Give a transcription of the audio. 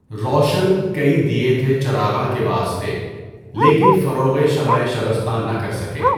روشن کئی دئے تھے چراغاں کے واسطے لیکن فروغِ شمعِ شبستاں نہ کر سکے